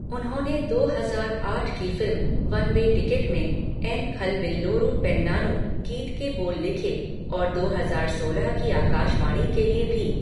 उन्होंने दो हजार आठ की फिल्म, वन वे टिकट में "एन खलबिल्लोरु पेन्नानु" गीत के बोल लिखे और दो हजार सोलह की आकाशवाणी के लिए भी।